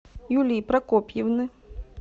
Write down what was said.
юлии прокопьевны